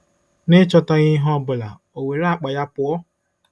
N'ịchọtaghị ihe ọ bụla, o were akpa ya pụọ!